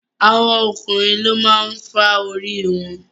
àwọn ọkùnrin ló máa ń fà orí wọn.